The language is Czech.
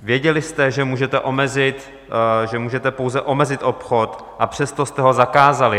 Věděli jste, že můžete pouze omezit obchod, a přesto jste ho zakázali.